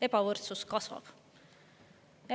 Ebavõrdsus kasvab.